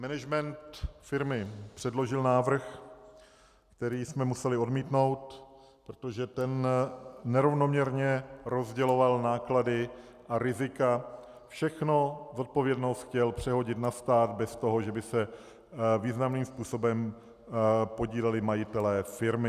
Management firmy předložil návrh, který jsme museli odmítnout, protože ten nerovnoměrně rozděloval náklady a rizika - všechnu zodpovědnost chtěl přehodit na stát bez toho, že by se významným způsobem podíleli majitelé firmy.